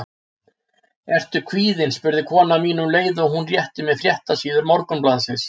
Ertu kvíðinn? spurði kona mín, um leið og hún rétti mér fréttasíður morgunblaðsins.